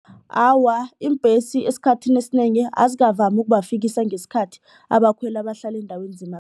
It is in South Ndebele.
Awa, iimbhesi esikhathini esinengi azikavami ukubafikisa ngesikhathi abakhweli abahlala eendaweni